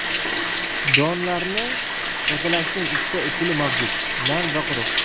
Donlarni tozalashning ikkita usuli mavjud nam va quruq.